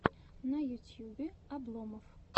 на ютьюбе обломов